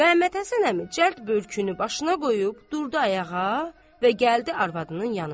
Məhəmməd Həsən əmi cəld börkünü başına qoyub, durdu ayağa və gəldi arvadının yanına.